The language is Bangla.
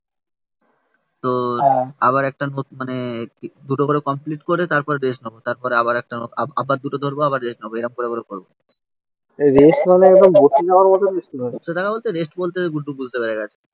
তো হ্যাঁ আবার একটা মানে দুটো করে কমপ্লিট করে তারপর রেস্ট নেবো. তারপরে আবার একটা আবার দুটো ধরবো. আবার রেস্ট নেবো. এরম করে করে করবো. এই রেস্ট মানে একদম বসে যাওয়ার মতো রেস্ট নয়, বসে টাকা বলতে রেস্ট বলতে গুড্ডু বুঝতে পেরে গেছে